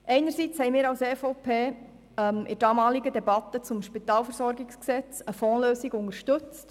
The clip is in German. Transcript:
Einerseits haben wir als EVP in der damaligen Debatte um das Spitalversorgungsgesetz (SpVG) eine Fondslösung unterstützt.